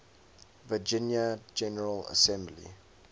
virginia general assembly